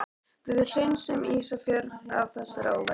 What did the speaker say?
Við hreinsum Ísafjörð af þessari óværu!